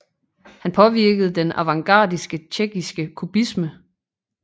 Han påvirkede den avantgardistiske tjekkiske kubisme